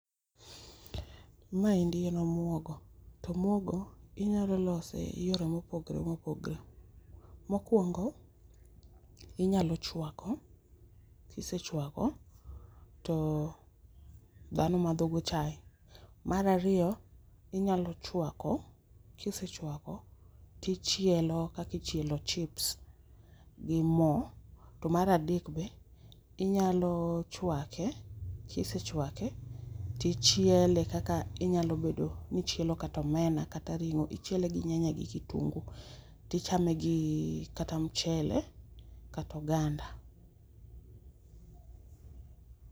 Maendi en omuogo to omuogo inyalo lose yore ma opogore mopogore, mokuongo inyalo chwako kisechwako to dhano madho go chae. Mar ariyo inyalo chwako kisechwako tichielo kaka ichielo chips gi moo to mar adek be inyalo chwake kisechwake tichiele kaka inyalo bedo ni ichielo kata omena kata ringo, ichiele gi nyanya gi kitungu tichame gi mchele kata oganda